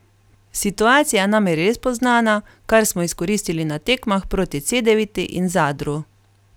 Situacija nam je res poznana, kar smo izkoristili na tekmah proti Cedeviti in Zadru.